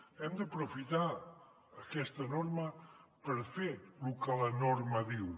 hem d’aprofitar aquesta norma per fer lo que la norma diu